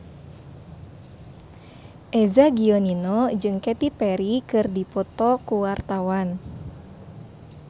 Eza Gionino jeung Katy Perry keur dipoto ku wartawan